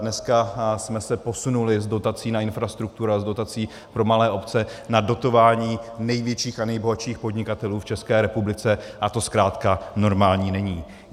Dneska jsme se posunuli z dotací na infrastrukturu, z dotací pro malé obce na dotování největších a nejbohatších podnikatelů v České republice a to zkrátka normální není.